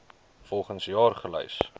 volgens jaar gelys